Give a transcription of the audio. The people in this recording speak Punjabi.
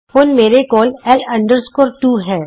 ਹੁਣ ਮੇਰੇ ਕੋਲ ਲ 2 ਹੈ